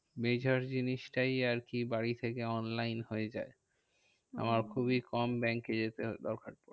Major জিনিসটাই আর কি বাড়ি থেকে online হয়ে যাই। আমায় খুবই কম ব্যাঙ্কে যেতে হয় দরকার পরে।